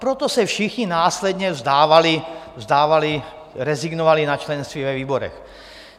Proto se všichni následně vzdávali, rezignovali na členství ve výborech.